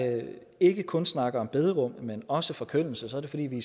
ikke kun snakker om bederum men også forkyndelse så er det fordi vi